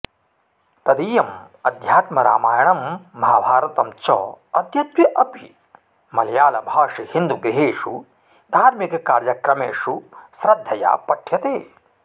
तदीयम् अध्यात्मरामायणं महाभारतञ्च अद्यत्वे अपि मलयाळभाषिहिन्दुगृहेषु धार्मिककार्यक्रमेषु श्रद्धया पठ्यते